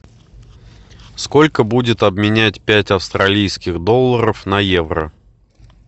сколько будет обменять пять австралийских долларов на евро